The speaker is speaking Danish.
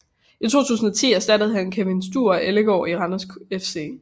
I 2010 erstattede han Kevin Stuhr Ellegaard i Randers FC